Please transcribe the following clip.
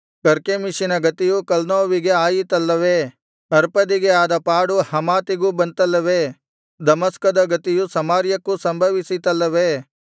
ಕರ್ಕೆಮೀಷಿನ ಗತಿಯು ಕಲ್ನೋವಿಗೆ ಆಯಿತಲ್ಲವೇ ಅರ್ಪದಿಗೆ ಆದ ಪಾಡು ಹಮಾತಿಗೂ ಬಂತಲ್ಲವೇ ದಮಸ್ಕದ ಗತಿಯು ಸಮಾರ್ಯಕ್ಕೂ ಸಂಭವಿಸಿತಲ್ಲವೇ